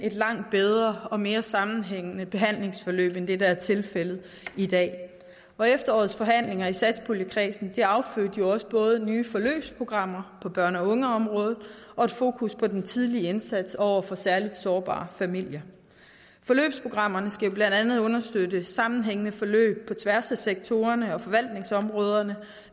langt bedre og mere sammenhængende behandlingsforløb end det der er tilfældet i dag efterårets forhandlinger i satspuljekredsen affødte nye forløbsprogrammer på børne og ungeområdet og fokus på den tidlige indsats over for særligt sårbare familier forløbsprogrammerne skal jo blandt andet understøtte sammenhængende forløb på tværs af sektorerne og forvaltningsområderne